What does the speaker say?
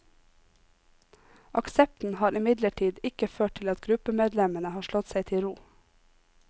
Aksepten har imidlertid ikke ført til at gruppemedlemmene har slått seg til ro.